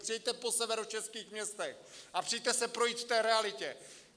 Přijeďte po severočeských městech a přijďte se projít v té realitě!